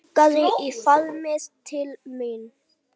Angandi í faðminn til mín.